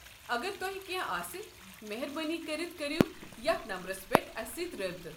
اگر تۄہہِ کٮ۪نٛہہ آسہِ مہربٲنی كٔرِتھ كٔرِو یتھ نمبرس پیٹھ اسہِ سٕتۍ رٲبطہٕ۔